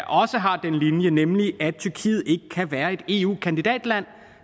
også har den linje nemlig at tyrkiet ikke kan være et eu kandidatland